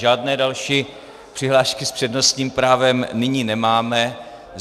Žádné další přihlášky s přednostním právem nyní nemáme.